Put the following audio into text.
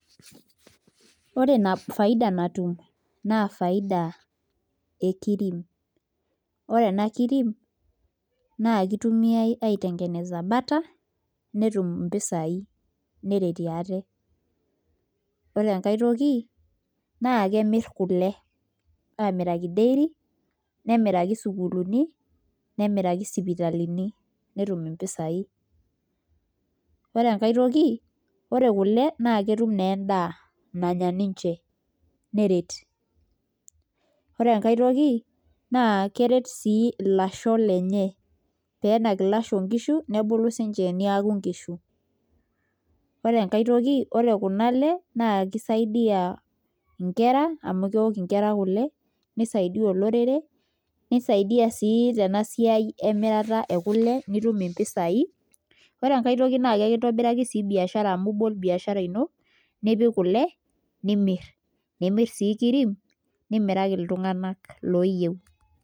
Ore Ina faida natum, naa faida ekirim ore ena kirim naa kitumiae aitayunye butter netum mpisai neretie ate. ore enkae toki naa kemiri kule aamiraki dairy. nemiraki isukulini, nemiraki sipitalini, netum mpisai. ore enkae toki. ore kule naa ketum naa edaa nanya ninche, neret. ore enkae toki naa keret sii ilasho lenye. pee enak ilasho nkishu. nebulu sii ninche niaku nkishu. ore enkae toki ore Kuna le naa kisaidia, nkera amu kelo nkera kule. nisaidia olorere. nisaidia sii te a siai emirata ekule. nitum. mpisai. ore enkae toki naa ekintobiraki sii biashara amu ibol biashara ino nimiraki iltunganak looyieiu.